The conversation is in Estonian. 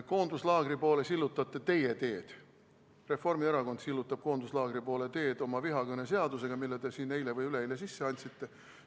Koonduslaagri poole sillutate teie teed, Reformierakond sillutab koonduslaagri poole teed oma vihakõneseadusega, mille te eile või üleeile sisse andsite.